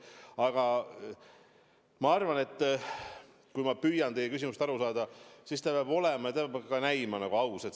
Aga ma arvan, püüdes teie küsimusest aru saada, et kõik peab olema ja ka näima aus.